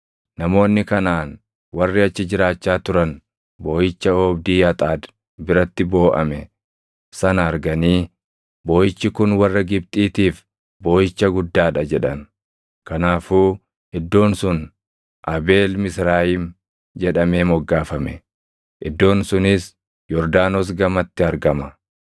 Namoonni Kanaʼaan warri achi jiraachaa turan booʼicha oobdii Axaad biratti booʼame sana arganii, “Booʼichi kun warra Gibxiitiif booʼicha guddaa dha” jedhan. Kanaafuu iddoon sun Abeel Misraayim jedhamee moggaafame. Iddoon sunis Yordaanos gamatti argama.